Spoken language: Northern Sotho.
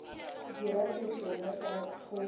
dira se sengwe ka thoko